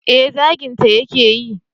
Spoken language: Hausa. eh zaginta ya ke yi